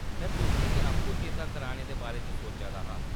में तुसें गी आपूं चेता कराने दे बारे च सोचा दा हा।